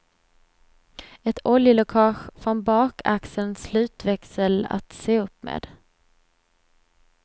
Ett oljeläckage från bakaxelns slutväxel att se upp med.